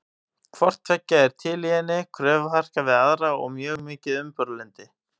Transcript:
Hvort tveggja er til í henni, kröfuharka við aðra og mjög mikið umburðarlyndi.